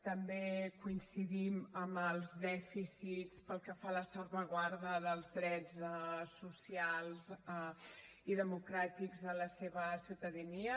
també coincidim en els dèficits pel que fa a la salvaguarda dels drets socials i democràtics de la seva ciutadania